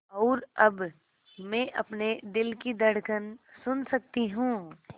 और अब मैं अपने दिल की धड़कन सुन सकती हूँ